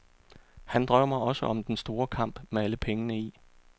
Han drømmer også om den store kamp med alle pengene i.